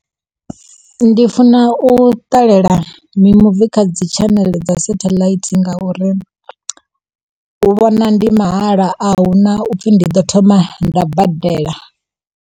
Ndi funa u ṱalela mimuvi kha dzi tshaneḽe dza setheḽaithi ngauri u vhona ndi mahala, ahuna upfi ndi ḓo thoma nda badela.